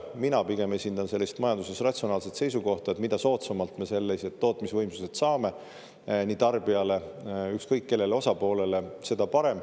Mina pigem esindan sellist majanduses ratsionaalset seisukohta, et mida soodsamalt nii tarbijale kui ka ükskõik missugusele osapoolele me sellised tootmisvõimsused saame, seda parem.